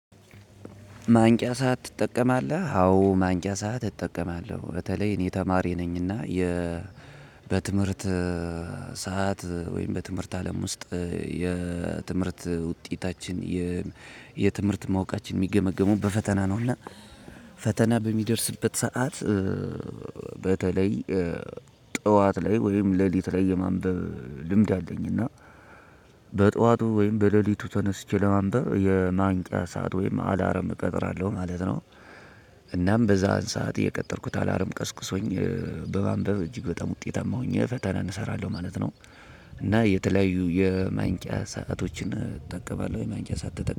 ማንቂያ ሰዓት ትጠቀማለህ? አዎ ማንቂያ ሰዓት እጠቀማለሁ በተለይ እኔ ተማሪ ነኝና። የ በትምህርት ሰዓት ወይም በትምህርት አለም ውስጥ የ ትምህርት ውጤታችን የ የትምህርት ማወቃችን የሚገመግሙ በፈተና ነው። እና ፈተና በሚደርስበት ሰዓት በተለይ ጠዋት ላይ ወይም ሌሊት ላይ የማንበብ ልምድ አለኝና። በጧቱ ወይም በሌሊቱ ተነስቼ ለማንበብ የማንቂያ ሰዓት ወይም አላርም እቀጥራለሁ ማለት ነው። እናም በዛን ሰዓት የቀጠርኩት አላርም ቀስቅሶኝ በማንበብ እጅግ በጣም ውጤታማ ሆኜ ፈተናን እሰራለሁ ማለት ነው። እና የተለያዩ የማንቂያ ሰአቶችን እጠቀማለሁ የማንቂያ ሰዓት ተጠቀሙ